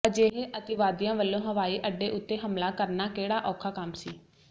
ਅਜਿਹੇ ਅਤਿਵਾਦੀਆਂ ਵੱਲੋਂ ਹਵਾਈ ਅੱਡੇ ਉਤੇ ਹਮਲਾ ਕਰਨਾ ਕਿਹੜਾ ਔਖਾ ਕੰਮ ਸੀ